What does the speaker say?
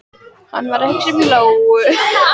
Hann var að hugsa um Lóu.